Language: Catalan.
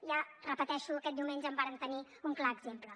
ja ho repeteixo aquest diumenge en vàrem tenir un clar exemple